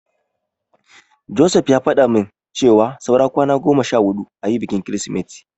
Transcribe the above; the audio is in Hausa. Joseph ya faɗa min cewa saura kwana goma sha huɗu ayi bikin Kirsimeti.